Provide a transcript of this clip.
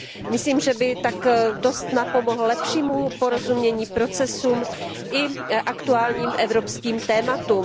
Myslím, že by to dost napomohlo lepšímu porozumění procesům i aktuálním evropským tématům.